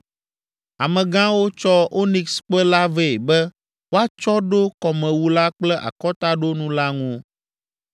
Amegãwo tsɔ onikskpe la vɛ be woatsɔ ɖo kɔmewu la kple akɔtaɖonu la ŋu.